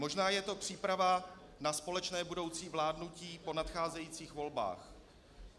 Možná je to příprava na společné budoucí vládnutí po nadcházejících volbách.